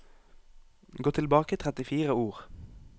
Gå tilbake trettifire ord